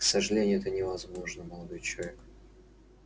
к сожалению это невозможно молодой человек